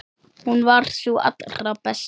Hún var sú allra besta.